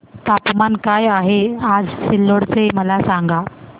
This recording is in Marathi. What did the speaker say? तापमान काय आहे आज सिल्लोड चे मला सांगा